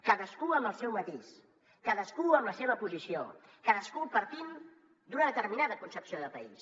cadascú amb el seu matís cadascú amb la seva posició cadascú partint d’una determinada concepció de país